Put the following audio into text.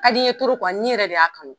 A ka di n ye kuwa n nin yɛrɛ de y'a kanu.